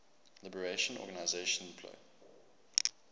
liberation organization plo